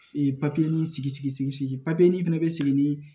Ee papiye in sigi sigi papiye nin fɛnɛ bɛ sigi ni